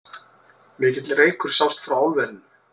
Mikill reykur sást frá álverinu